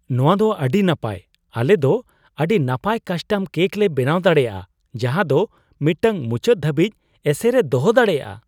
ᱱᱚᱶᱟ ᱫᱚ ᱟᱹᱰᱤ ᱱᱟᱯᱟᱭ ! ᱟᱞᱮ ᱫᱚ ᱟᱹᱰᱤ ᱱᱟᱯᱟᱭ ᱠᱟᱥᱴᱚᱢ ᱠᱮᱹᱠ ᱞᱮ ᱵᱮᱱᱟᱣ ᱫᱟᱲᱮᱭᱟᱜᱼᱟ ᱡᱟᱦᱟ ᱫᱚ ᱢᱤᱫᱴᱟᱝ ᱢᱩᱪᱟᱹᱫ ᱫᱷᱟᱹᱵᱤᱡ ᱮᱥᱮᱨ ᱮ ᱫᱚᱦᱚ ᱫᱟᱲᱮᱭᱟᱜᱼᱟ ᱾